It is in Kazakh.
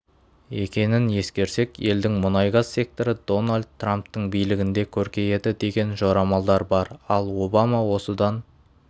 екенін ескерсек елдің мұнай-газ секторы дональд трамптың билігінде көркейеді деген жорамалдар бар ал обама осыдан